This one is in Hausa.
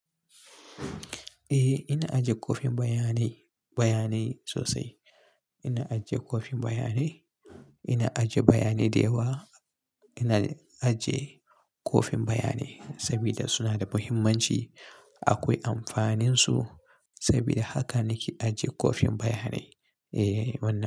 Eh ina ajiye kwafin bayanai, bayanai sosai. Ina ajiye kwafin bayanai, ina ajiye bayanai dayawa. Ina ajiye kwafin bayanai sabida suna da muhimmanci. Akwai amfaninsu saboda haka nake ajiye kwafin bayanai. Eh, wannan.